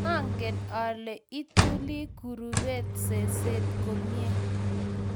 maangen ale ituli kurumbet seset komye